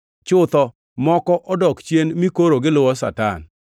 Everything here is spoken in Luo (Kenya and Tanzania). Chutho, moko odok chien mi koro giluwo Satan.